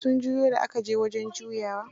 Sun juyo da aka je wajen juyawa.